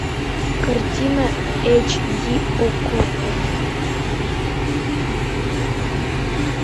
картина эйч ди окко